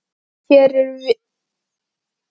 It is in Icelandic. Hér erum það við sem ráðum, sagði fyrirliðinn.